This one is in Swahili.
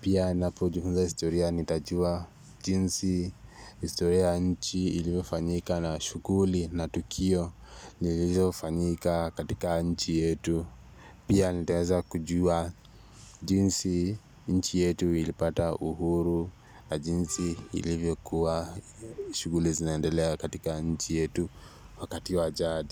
Pia ninapojifunza historia nitajua jinsi, historia ya nchi ilivyofanyika na shughuli na tukio, zilizofanyika katika nchi yetu pia nitaeza kujua jinsi nchi yetu ilipata uhuru na jinsi ilivyokuwa shughuli zinaendelea katika nchi yetu wakati wa jadi.